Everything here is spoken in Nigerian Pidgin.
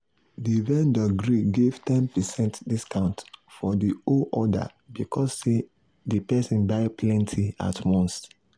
the vendor gree give ten percent discount for the whole order because say the person buy plenty at once.